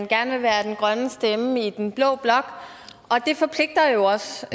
gerne vil være den grønne stemme i den blå blok og det forpligter jo også